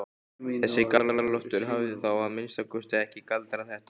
Þessi Galdra-Loftur hafði þá að minnsta kosti ekki galdrað þetta.